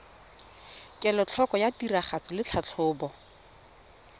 kelotlhoko ya tiragatso le tlhatlhobo